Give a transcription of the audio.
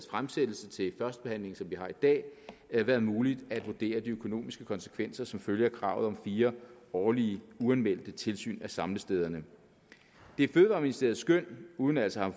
fremsættelse til førstebehandlingen som vi har i dag været muligt at vurdere de økonomiske konsekvenser som følge af kravet om fire årlige uanmeldte tilsyn af samlestederne det er fødevareministeriets skøn uden altså at